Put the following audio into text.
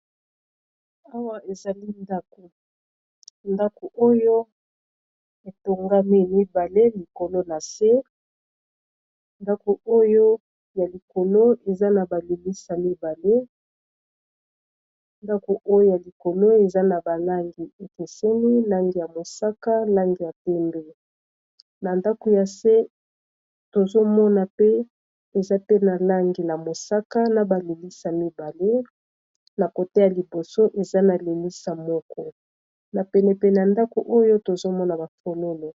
Awa ezali ndako oyo etongami mibale likolo na se ya likolo eza na fenêtre mibale ndako oyo ya likolo eza na balangi ekeseni langi ya mosaka, langi ya pembe na ndako ya se tozomona pe eza pe na langi ya mosaka, na ba fenêtre mibale na côté ya liboso eza na fenêtre moko na penepene ya ndako oyo tozomona ba fololo.